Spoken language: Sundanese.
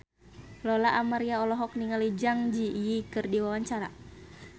Lola Amaria olohok ningali Zang Zi Yi keur diwawancara